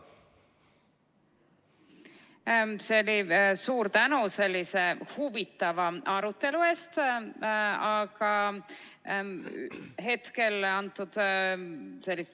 Suur tänu sellise huvitava arutelu eest!